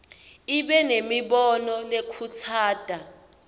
ibe nemibono lekhutsata